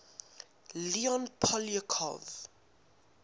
leon poliakov